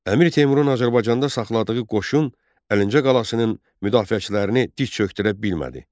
Əmir Teymurun Azərbaycanda saxladığı qoşun Əlincə qalasının müdafiəçilərini diz çökdürə bilmədi.